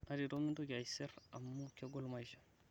natito mintoki aiser amuu kegol maisha